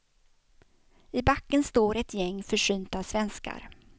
I backen står ett gäng försynta svenskar.